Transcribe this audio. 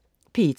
P1: